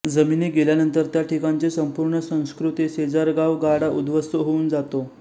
जमिनी गेल्यानंतर त्या ठिकाणची संपूर्ण संस्कृती शेजारगावगाडा उद्ध्वस्त होऊन जातो